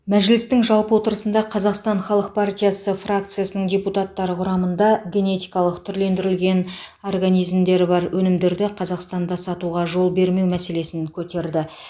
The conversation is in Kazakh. мәжілістің жалпы отырысында қазақстан халық партиясы фракциясының депутаттары құрамында генетикалық түрлендірілген организмдері бар өнімдерді қазақстанда сатуға жол бермеу мәселесін көтерді